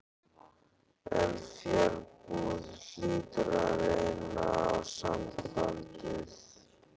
En fjarbúð hlýtur að reyna á sambandið.